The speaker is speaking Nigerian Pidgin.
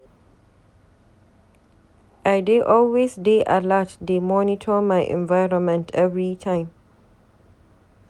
I dey always dey alert dey monitor my environment everytime.